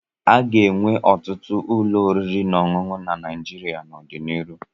A ga-ewu ọtụtụ ụlọ oriri na ọṅụṅụ na Naịjịrịa n'ọdịnihu.